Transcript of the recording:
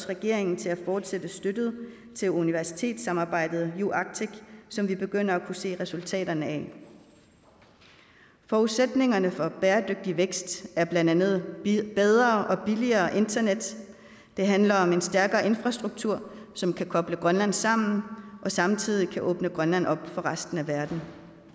regeringen til at fortsætte støtten til universitetssamarbejdet uarctic som vi begynder at se resultaterne af forudsætningerne for bæredygtig vækst er blandt andet bedre og billigere internet det handler om en stærkere infrastruktur som kan koble grønland sammen og samtidig kan åbne grønland op for resten af verden